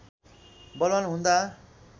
बलवान हुँदा